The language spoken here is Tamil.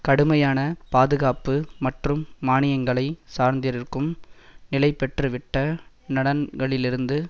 கடுமையான பாதுகாப்பு மற்றும் மானியங்களை சார்ந்திருக்கும் நிலைபெற்றுவிட்ட நலன்களிலிருந்து